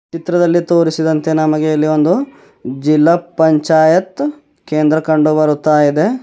ಚಿತ್ರದಲ್ಲಿ ತೋರಿಸಿದಂತೆ ನಮಗೆ ಇಲ್ಲಿ ಒಂದು ಜಿಲ್ಲಾ ಪಂಚಾಯತ್ ಕೇಂದ್ರ ಕಂಡುಬರುತ್ತಯಿದೆ.